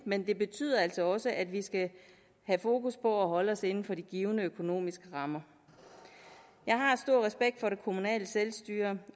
men det betyder altså også at vi skal have fokus på at holde os inden for de givne økonomiske rammer jeg har stor respekt for det kommunale selvstyre